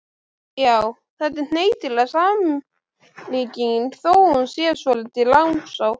Já, þetta er hnyttileg samlíking þó hún sé svolítið langsótt.